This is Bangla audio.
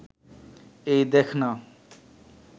এই দ্যাখ না